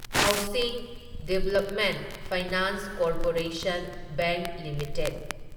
housing development finance corporation bank limited